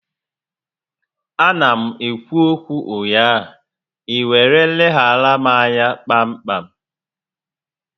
A na m ekwu okwu ụnyaahụ, ị were leghara m anya kpa m kpam